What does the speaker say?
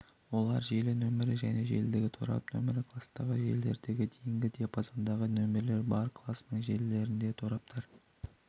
олар желі нөмірі және желідегі торап нөмірі кластағы желілерде дейінгі диапазондағы нөмірлер бар класының желілерінде тораптар